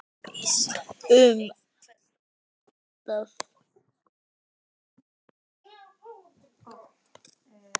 Um ást eyðingarinnar.